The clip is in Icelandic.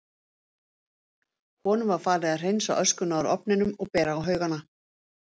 Honum var falið að hreinsa öskuna úr ofnunum og bera á haugana.